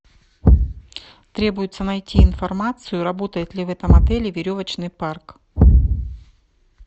требуется найти информацию работает ли в этом отеле веревочный парк